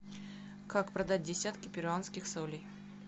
как продать десятки перуанских солей